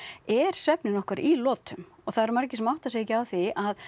er svefninn okkar í lotum og það eru margir sem átta sig ekki á því að